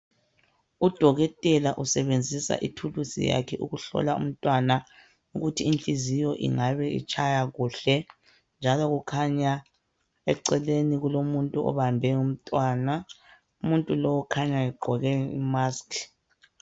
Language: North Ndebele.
Udokotela usebenzisa ithulusi yakhe ukuhlola umntwana ukuthi inhliziyo ingabe itshaya kuhle njalo kukhanya eceleni kulomuntu obambe umntwana. Umuntu lo ukhanya egqoke i"mask".